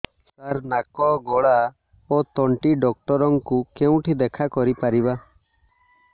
ସାର ନାକ ଗଳା ଓ ତଣ୍ଟି ଡକ୍ଟର ଙ୍କୁ କେଉଁଠି ଦେଖା କରିପାରିବା